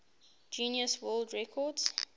guinness world record